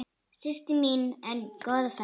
Systir mín ein, góða ferð.